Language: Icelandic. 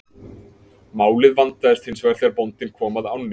Málið vandaðist hins vegar þegar bóndinn kom að ánni.